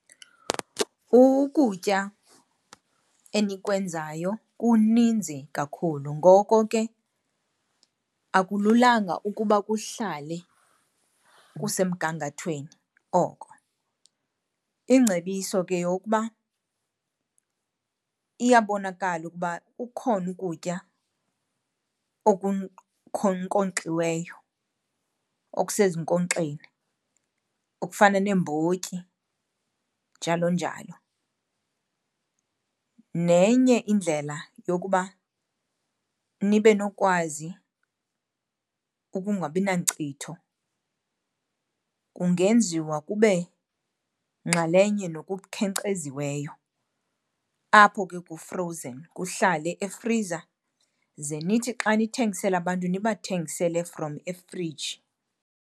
Ukutya enikwenzayo kuninzi kakhulu ngoko ke akululanga ukuba kuhlale kusemgangathweni oko. Ingcebiso ke yeyokuba iyabonakala ukuba ukhona ukutya okusezinkonxeni, okufana neembotyi njalo njalo. Nenye indlela yokuba nibe nokwazi ukungabinankcitho kungenziwa kube nxalenye nokukhenkceziweyo, apho ke ku-frozen kuhlale efriza ze nithi xa nithengisela abantu nibathengisele from efriji.